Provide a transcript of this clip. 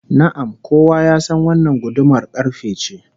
Na'am, kowa ya san wannan gudumar karfe ce